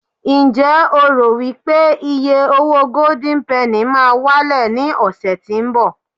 njé o ro wipe iye owo golden penny ma wale ni ọsẹ tínbọ̀